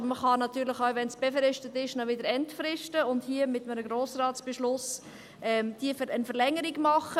Aber man kann ihn natürlich auch, wenn er befristet ist, entfristen, und hier mit einem Grossratsbeschluss eine Verlängerung machen.